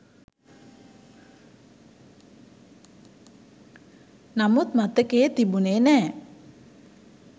නමුත් මතකයේ තිබුණේ නෑ.